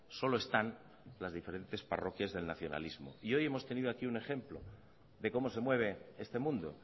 solo están las diferentes parroquias del nacionalismo y hoy hemos tenido aquí un ejemplo de cómo se mueve este mundo